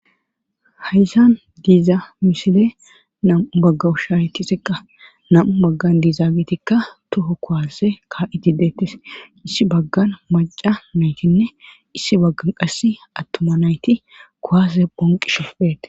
Haysan diiza misile namu bagga ushaaretiseqa namu maggan diiza bitikka toho kohase ka7itideettes issi baggan maca naytinne issi baggan qass attuma nayti kowase ponqi shoppete